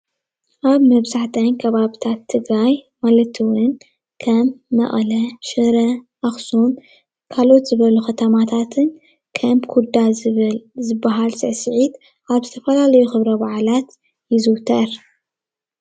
ኣብ መብዛሕትኣን ከባብታት ትግራይ ማለት እዉ ከም መቀለ ፣ሽረ ፣ኣኩሱም ካልኦት ዝበሉ ከተማታትን ከም ኩዳ ዝብል ዝበሃል ስዕሲዒት ኣብ ዝተፈላለዩ ክብረ በዓላት ይዝዉተር።